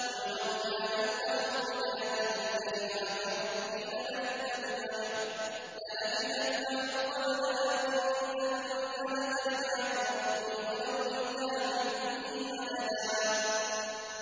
قُل لَّوْ كَانَ الْبَحْرُ مِدَادًا لِّكَلِمَاتِ رَبِّي لَنَفِدَ الْبَحْرُ قَبْلَ أَن تَنفَدَ كَلِمَاتُ رَبِّي وَلَوْ جِئْنَا بِمِثْلِهِ مَدَدًا